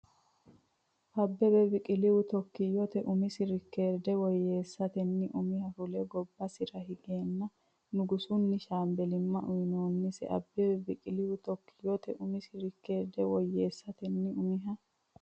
Abbebe Biqilihu Tookkiyote umisi reekoorde woyyeessatenni umiha fule gobbasira higeenna nugusunni shaambellimma uyinoonnisi Abbebe Biqilihu Tookkiyote umisi reekoorde woyyeessatenni umiha.